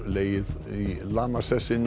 legið í lamasessi